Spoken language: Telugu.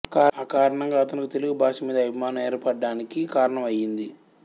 ఆకారణంగా అతనుకు తెలుగు భాష మీద అభిమానం ఏర్పడాడానికి కారణం అయింది